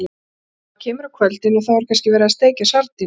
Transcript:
Maður kemur á kvöldin og þá er kannski verið að steikja sardínur.